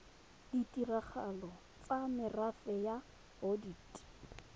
ditirelo tsa merafe ya bodit